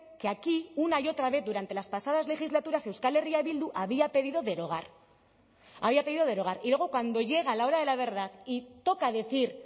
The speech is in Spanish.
que aquí una y otra vez durante las pasadas legislaturas euskal herria bildu había pedido derogar había pedido derogar y luego cuando llega la hora de la verdad y toca decir